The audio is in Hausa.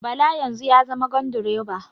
Bala yanzu ya zama gandiroba